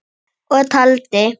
Og taldi